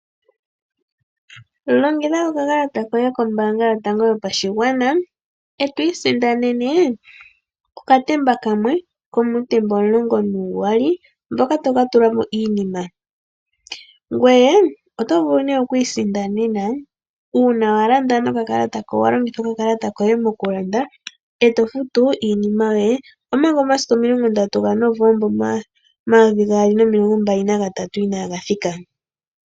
Longitha okakalata koye kombaanga yotango yopashigwana eto isindanene okatemba kamwe komuutemba omulongo nuuyali mboka to ka tula mo iinima. Ngweye oto vulu nee oku isindanena uuna wa longitha okakalata koye mokulanda eto futu iinima yoye omanga omasiku o30 gaNovomba 2023 inaaga thika.